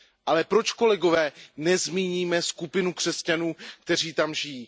Ale proč kolegové nezmínit skupinu křesťanů, kteří tam žijí?